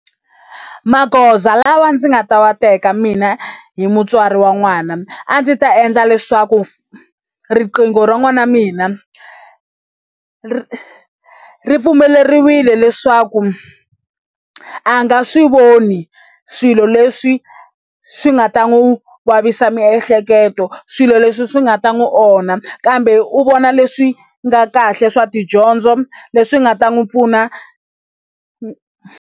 Magoza lawa ndzi nga ta wa teka mina hi mutswari wa n'wana a ndzi ta endla leswaku riqingho ra n'wana wa mina ri ri pfumeleriwile leswaku a nga swi voni swilo leswi swi nga ta n'wi vavisa miehleketo swilo leswi swi nga ta n'wi onha kambe u vona leswi nga kahle swa tidyondzo leswi nga ta n'wi pfuna.